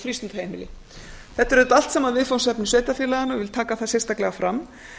frístundaheimili þetta eru auðvitað allt saman viðfangsefni sveitarfélaganna og ég vil taka það sérstaklega fram